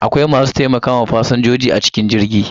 Akwai masu taimakawa fasinjoji a cikin jirgin.